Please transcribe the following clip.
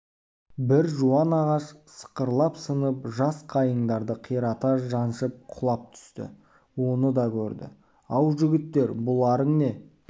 бір жуан ағаш сықырлап сынып жас қайыңдарды қирата жаншып құлап түсті оны да көрді ау жігіттер бұларың не